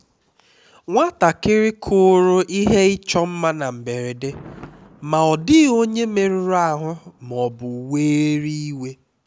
nwatakịrị kụrụ ihe ịchọ mma na mberede ma ọ dịghị onye merụrụ ahụ ma ọ bụ were iwe